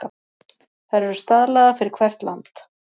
Þær eru staðlaðar fyrir hvert land.